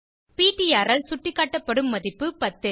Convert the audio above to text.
PTR ஆல் சுட்டிக்காட்டப்படும் மதிப்பு 10